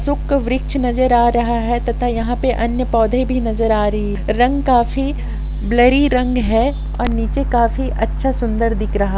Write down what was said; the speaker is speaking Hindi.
शुक्र वृक्ष नज़र आ रहा है तथा यहाँ पे अन्य पौधे भी नज़र आ रहे हैं रंग कॉफी ब्लरी रंग है और नीचे काफी अच्छा सुंदर दिख रहा--